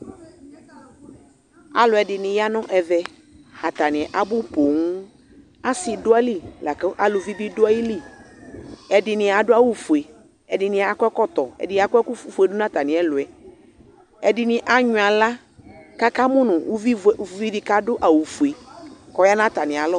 aloɛdini ya no ɛvɛ atani abò ponŋ ase do ayili lako aluvi bi do ayili ɛdini ado awu fue ɛdini akɔ ɛkɔtɔ ɛdini akɔ ɛkufue do n'atami ɛluɛ ɛdini anyuɛ ala k'aka mo no uvi di k'ado awu fue k'ɔya n'atami alɔ